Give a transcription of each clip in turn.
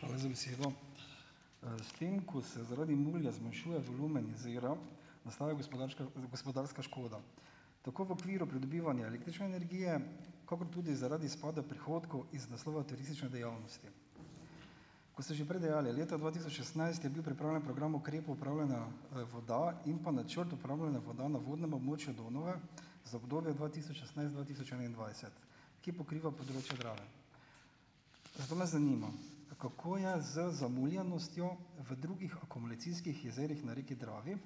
Hvala za besedo. S tem, ko se zaradi mulja zmanjšuje volumen jezera, nastaja gospodarska škoda. Tako v okviru pridobivanja električne energije kakor tudi zaradi izpada prihodkov iz naslova turistične dejavnosti. Kot ste že prej dejali, leta dva tisoč šestnajst je bil pripravljen program ukrepov upravljanja, voda in pa načrt upravljanja voda na vodnem območju Donave, za obdobje dva tisoč šestnajst-dva tisoč enaindvajset, ki pokriva področje Drave. Zato me zanima, kako je z zamuljenostjo v drugih akumulacijskih jezerih na reki Dravi,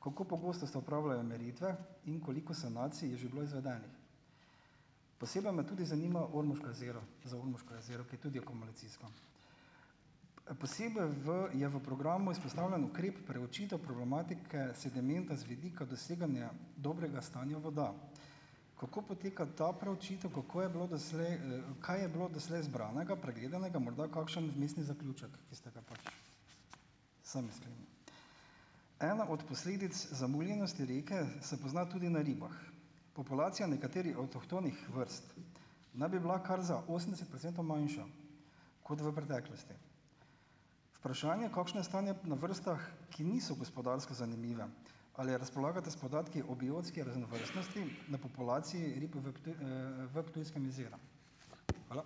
kako pogosto se opravljajo meritve in koliko sanacij je že bilo izvedenih. Posebej me tudi zanima Ormoško jezero, za Ormoško jezero, ki je tudi akumulacijsko. Posebej v je v programu izpostavljen ukrep preučitev problematike sedimenta z vidika doseganja dobrega stanja voda. Kako poteka ta preučitev, kako je bilo doslej, kaj je bilo doslej zbranega, pregledanega, morda kakšen vmesni zaključek, ki ste ga pač sami sklenili. Ena od posledic zamuljenosti reke se pozna tudi na ribah. Populacija nekaterih avtohtonih vrst naj bi bila kar za osemdeset procentov manjša kot v preteklosti. Vprašanje, kakšno je stanje na vrstah, ki niso gospodarsko zanimive, ali razpolagate s podatki o biotski raznovrstnosti na populaciji rib v v Ptujskem jezeru. Hvala.